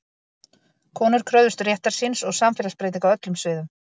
Konur kröfðust réttar síns og samfélagsbreytinga á öllum sviðum.